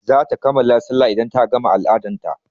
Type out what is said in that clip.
zata kammala sallah idan ta gama al-adan ta.